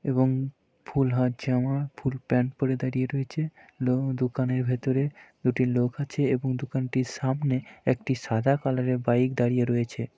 এবং ফুল হাত জামা এবং ফুল প্যান্ট পরে দাঁড়িয়ে রয়েছে । লো দোকানের ভিতরে দুটি লোক আছে এবং দোকানটির সামনে একটি সাদা কালারের বাইক দাঁড়িয়ে রয়েছে।